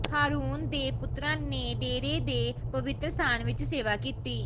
ਹਾਰੂਨ ਦੇ ਪੁੱਤਰਾਂ ਨੇ ਡੇਹਰੇ ਦੇ ਪਵਿੱਤਰ ਸਥਾਨ ਵਿਚ ਸੇਵਾ ਕੀਤੀ